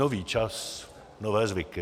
Nový čas, nové zvyky.